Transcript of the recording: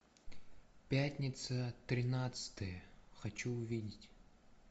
пятница тринадцатое хочу увидеть